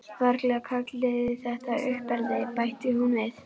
Varla kalliði þetta uppeldi, bætti hún við.